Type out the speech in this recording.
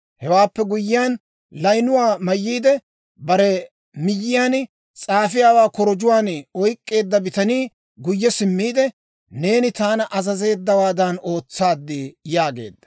Hewaappe guyyiyaan, layinuwaa mayyiide, bare miyyiyaan s'aafiyaawaa korojjuwaan oyk'k'eedda bitanii guyye simmiide, «Neeni taana azazeeddawaadan ootsaad» yaageedda.